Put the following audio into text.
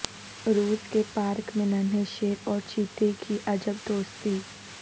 روس کے پارک میں ننھے شیر اورچیتے کی عجب دوستی